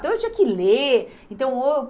Então, eu tinha que ler. Então